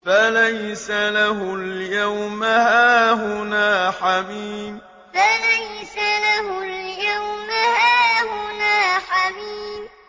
فَلَيْسَ لَهُ الْيَوْمَ هَاهُنَا حَمِيمٌ فَلَيْسَ لَهُ الْيَوْمَ هَاهُنَا حَمِيمٌ